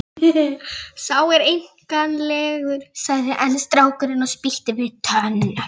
Sá er einkennilegur, sagði einn strákurinn og spýtti við tönn.